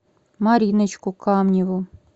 мариночку камневу